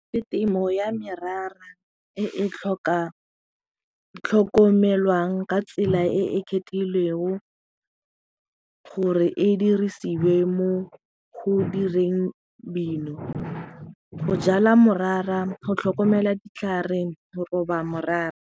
Le temo ya merara e e tlhokomelwang ka tsela e e gore e dirisiwe mo go direng dino go jala morara, go tlhokomela ditlhare, go roba morara.